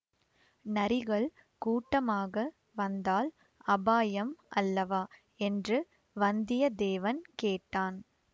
நரிகள் கூட்டமாக வந்தால் அபாயம் அல்லவா என்று வந்தியத்தேவன் கேட்டான்